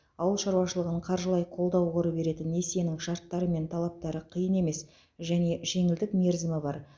ауыл шаруашылығын қаржылай қолдау қоры беретін несиенің шарттары мен талаптары қиын емес және жеңілдік мерзімі бар